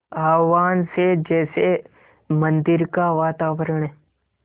आह्वान से जैसे मंदिर का वातावरण